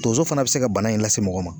Tonso fana bɛ se ka bana in lase mɔgɔ ma.